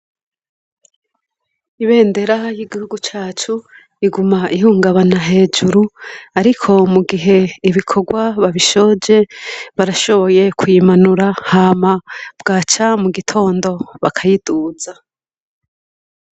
Ibendera y'igihugu cacu iguma ihungabana hejuru ariko mu gihe ibikorwa babishoje barashoboye kuyimanura hama bwaca mu gitondo bakayiduza.